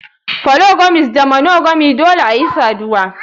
Polygamist da monogamy Dole ayi saduwa.